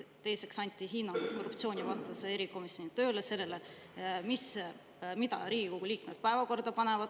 Teiseks anti hinnang korruptsioonivastase erikomisjoni tööle ja sellele, mida Riigikogu liikmed päevakorda panevad.